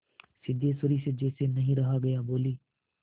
सिद्धेश्वरी से जैसे नहीं रहा गया बोली